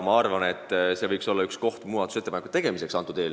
See võiks isegi olla ühe muudatusettepaneku sisu.